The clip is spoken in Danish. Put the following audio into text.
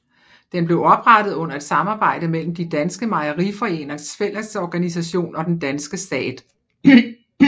Den blev oprettet under et samarbejde mellem De Danske mejeriforeningers fællesorganisation og den danske stat